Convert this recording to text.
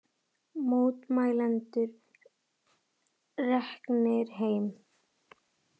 Mótmælendur reknir heim